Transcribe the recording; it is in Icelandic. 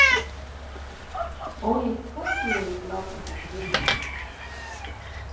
Ólíkt tertíeru blágrýtishraununum.